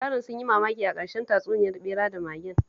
Yaran sun yi mamaki a ƙarshen tatsuniyar ɓera da magen